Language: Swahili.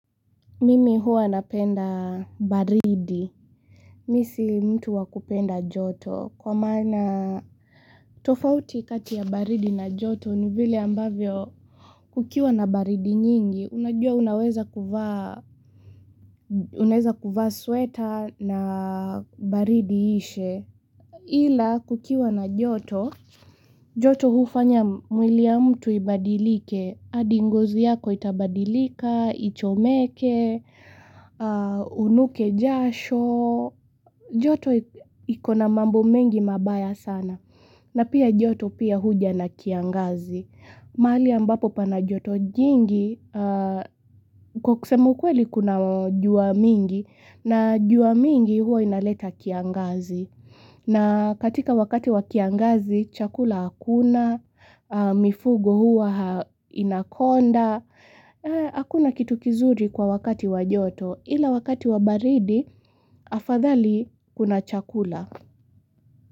Mimi huwa napenda baridi. Mi si mtu wa kupenda joto. Kwa maana tofauti kati ya baridi na joto ni vile ambavyo kukiwa na baridi nyingi. Unajua unaweza kuvaa, unaweza kuvaa sweater na baridi iishe. Ila kukiwa na joto, joto hufanya mwili ya mtu ibadilike. Hadi ngozi yako itabadilika, ichomeke, unuke jasho. Joto iko na mambo mengi mabaya sana. Na pia joto pia huja na kiangazi. Mahali ambapo pana joto jingi kwa kusema ukweli kuna jua mingi na jua mingi huwa inaleta kiangazi na katika wakati wa kiangazi chakula hakuna, mifugo huwa inakonda, hakuna kitu kizuri kwa wakati wa joto ila wakati wa baridi afadhali kuna chakula.